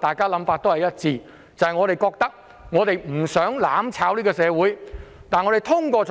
大家的想法也可能一致，就是我們不想社會被"攬炒"。